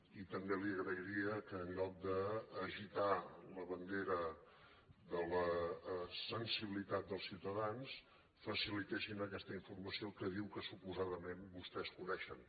i també li agrairia que en lloc d’agitar la bandera de la sensibilitat dels ciutadans facilitessin aquesta informació que diu que suposadament vostès coneixen